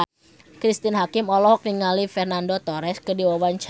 Cristine Hakim olohok ningali Fernando Torres keur diwawancara